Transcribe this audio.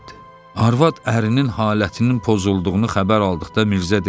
Arvad ərinin halətinin pozulduğunu xəbər aldıqda Mirzə dedi: